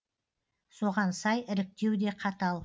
соған сай іріктеу де қатал